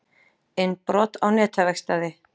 Innbrot á netaverkstæði